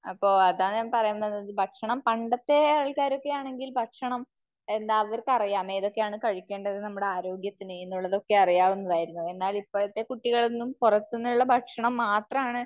അപ്പോ അതാ ഞാൻ പറയുന്നത്. ഭക്ഷണം, പണ്ടത്തെ ആൾക്കാർ ഒക്കെ ആണെങ്കിൽ ഭക്ഷണം, എന്താ അവർക്കറിയാം ഏതൊക്കെയാണ് കഴിക്കേണ്ടത്, നമ്മുടെ ആരോഗ്യത്തിന് എന്നുള്ളതൊക്കെ അറിയാവുന്നതായിരുന്നു. എന്നാൽ ഇപ്പോഴത്തെ കുട്ടികളൊന്നും, പുറത്തുന്നുള്ള ഭക്ഷണം മാത്രമാണ്